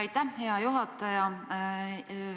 Aitäh, hea juhataja!